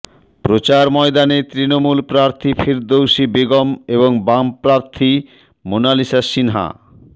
প্রচার ময়দানে তৃণমূল প্রার্থী ফিরদৌসী বেগম এবং বাম প্রার্থী মোনালিসা সিনহা